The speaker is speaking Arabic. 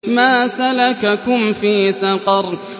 مَا سَلَكَكُمْ فِي سَقَرَ